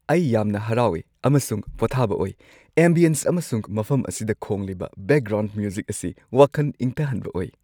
ꯑꯩ ꯌꯥꯝꯅ ꯍꯔꯥꯎꯏ ꯑꯃꯁꯨꯡ ꯄꯣꯊꯥꯕ ꯑꯣꯏ, ꯑꯦꯝꯕꯤꯑꯦꯟꯁ ꯑꯃꯁꯨꯡ ꯃꯐꯝ ꯑꯁꯤꯗ ꯈꯣꯡꯂꯤꯕ ꯕꯦꯛꯒ꯭ꯔꯥꯎꯟꯗ ꯃ꯭ꯌꯨꯖꯤꯛ ꯑꯁꯤ ꯋꯥꯈꯟ ꯏꯪꯊꯍꯟꯕ ꯑꯣꯏ!